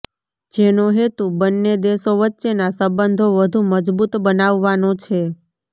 જેનો હેતુ બંને દેશો વચ્ચેના સંબંધો વધુ મજબુત બનાવવાનો છે